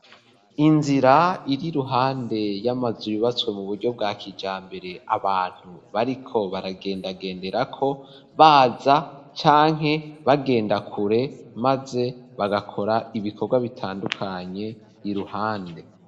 Inzira, iri iruhande y'amazu, yubatswe mu buryo, bwa kijambere, abantu bariko, baragendagenderako; baza, canke bagenda kure, maze bagakora, ibikorwa bitandukanye, iruhande.